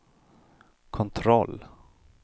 kontroll